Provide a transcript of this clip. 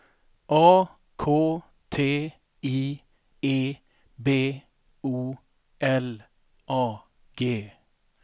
A K T I E B O L A G